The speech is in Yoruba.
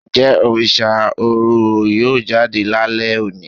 njẹ Òrìṣà Oro yọọ jadé lálẹ oní?